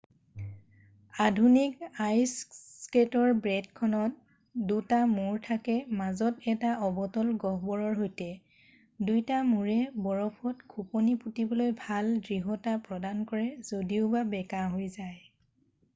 আধুনিক আইছ স্কেটৰ ব্লেডখনত দুটা মূৰ থাকে মাজত এটা অৱতল গহ্বৰৰ সৈতে দুইটা মূৰে বৰফত খোপনি পোটিবলৈ ভাল দৃঢ়তা প্ৰদান কৰে যদিওবা বেকাহৈ যায়